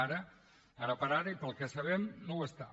ara per ara i pel que sabem no ho està